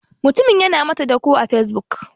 Mutumin yana mata dako a facebook.